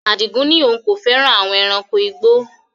Adigun ní òun kò fẹ́ràn àwon ẹranko igbó